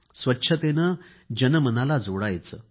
स्वच्छतेने जनमनाला जोडणार